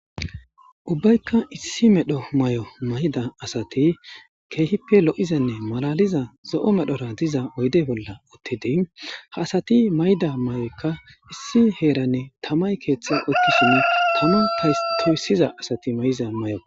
Ubbayka isdi medho mayo mayida adati keehipe lo'izanne malaliza zo'o medhora diza oyde bolla uttidi ha adati mayida mayoyka issi heran tamay keethe oykishin Tama toysiza asati mayiza mayoko